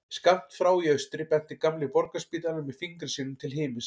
Skammt frá í austri benti gamli Borgarspítalinn með fingri sínum til himins.